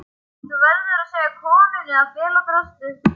Og þú verður að segja konunni að fela draslið.